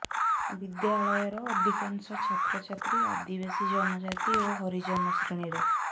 ବିଦ୍ୟାଳୟର ଅଧିକାଂଶ ଛାତ୍ରଛାତ୍ରୀ ଆଦିବାସୀ ଜନଜାତି ଓ ହରିଜନ ଶ୍ରେଣୀର